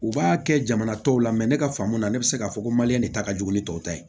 U b'a kɛ jamana tɔw la ne ka faamu na ne bɛ se k'a fɔ ko maliyɛn de ta ka jugu ni tɔw ta ye